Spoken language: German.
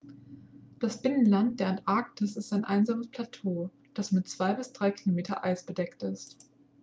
das binnenland der antarktis ist ein einsames plateau das mit 2-3 km eis bedeckt ist